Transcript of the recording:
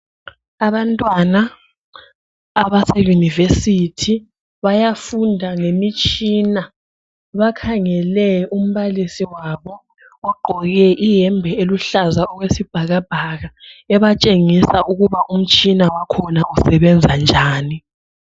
Abantwana abase yunivesithi bayafunda ngemitshina bakhangele umbalisi wabo ogqoke iyembe eluhlaza okwe sibhakabhaka, ebatshengisa ukuba umtshina wakhona usebenza njani.